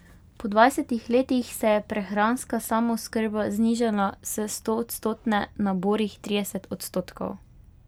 Po dvajsetih letih se je prehranska samooskrba znižala s stoodstotne na borih trideset odstotkov.